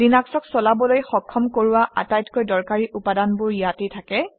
লিনাক্সক চলিবলৈ সক্ষম কৰোৱা আটাইতকৈ দৰকাৰী উপাদানবোৰ ইয়াতে থাকে